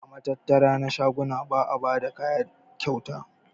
A matattara na shaguna ba'a bayar da kaya kyauta.